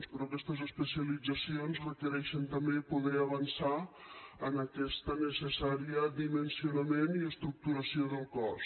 però aquestes especialitzacions requereixen també poder avançar en aquest necessari dimensionament i estructuració del cos